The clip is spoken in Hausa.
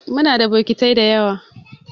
Muna da bokitai dayawa.